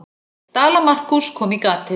Dala-Markús kom í gatið.